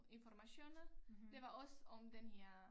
Informationer det var også om den her